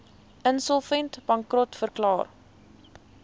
insolvent bankrot verklaar